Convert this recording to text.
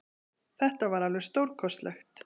Þetta var alveg stórkostlegt